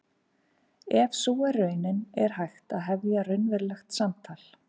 Ef sú er raunin er hægt að hefja raunverulegt samtal.